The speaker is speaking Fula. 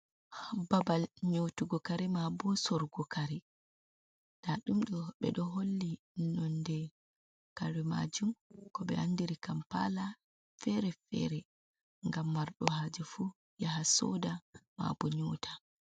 Babal nyotugo kare ma bo sorgo kare ta dum do be do holli nonde kare majum ko be andiri kampala fere fere gam mardo haje fu yaha soda ma bo nyota.